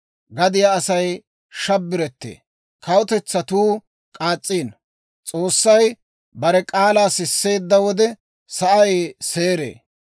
Gadiyaa Asay shabbarettee; kawutetsatuu k'aas's'iino. S'oossay bare k'aalaa sisseedda wode, sa'ay seeree.